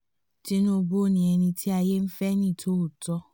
tinúbú ni ẹni tí ayé ń fẹ́ ní tòótọ́